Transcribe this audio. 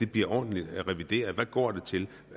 bliver ordentlig revideret hvad går de til